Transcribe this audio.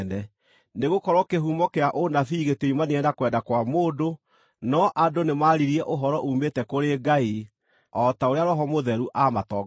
Nĩgũkorwo kĩhumo kĩa ũnabii gĩtioimanire na kwenda kwa mũndũ, no andũ nĩmaririe ũhoro uumĩte kũrĩ Ngai, o ta ũrĩa Roho Mũtheru aamatongoririe.